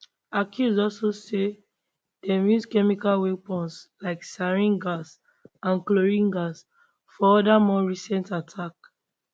accuse also dey say dem use chemical weapons like sarin gas and chlorine gas for oda more recent attacks